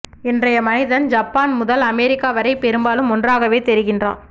இன்றைய மனிதன் ஜப்பான் முதல் அமெரிக்கா வரை பெரும்பாலும் ஒன்றாகவே தெரிகிறான்